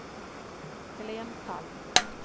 Helén Palm